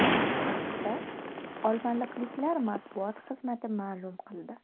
Bu haqda olmaliqliklar matbuot xizmati ma’lum qildi.